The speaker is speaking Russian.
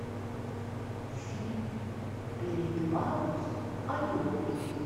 фильм белеет парус одинокий